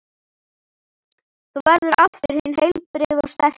Þú verður aftur hinn heilbrigði og sterki.